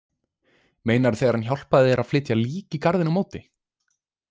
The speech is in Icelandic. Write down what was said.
Meinarðu þegar hann hjálpaði þér að flytja lík í garðinn á móti?